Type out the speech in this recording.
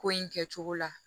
Ko in kɛcogo la